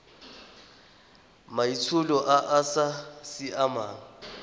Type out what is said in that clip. maitsholo a a sa siamang